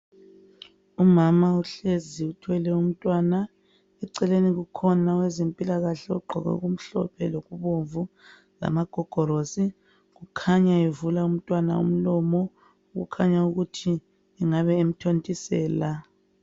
Umama uhlezi uthwele umntwana eceleni kukhona owezempilakahle ogqoke okumhlophe lokubomvu lamagogorosi kukhanya evula umntwana umlomo kukhanya ukuthi ngabe emthontisela.